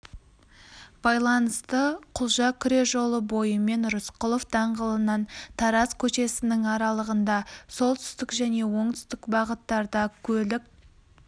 байланысты құлжа күре жолы бойымен рысқұлов даңғылынан тараз көшесінің аралығында солтүстік және оңтүстік бағыттарда көлік